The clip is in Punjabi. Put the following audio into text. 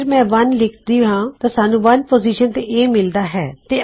ਅਗਰ ਮੈਂ 1 ਲਿਖਦਾ ਹਾਂ ਤਾਂ ਸਾਨੂੰ 1 ਪੋਜ਼ਿਸ਼ਨ ਤੇ A ਮਿਲਦਾ ਹੈ